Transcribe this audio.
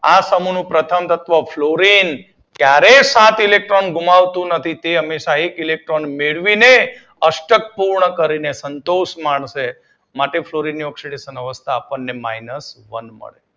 આ સમૂહ નું પ્રથમ તત્વ ફ્લોરિન ક્યારેય સાત ઇલેક્ટ્રોન ગુમાવતું નથી તે હંમેશા એક ઇલેક્ટ્રોન મેળવીને અષ્ટક પૂર્ણ કરીને સંતોષ માનશે માટે ફ્લોરિન ની ઓક્સીડેશન અવસ્થા માઇનસ વન મળશે.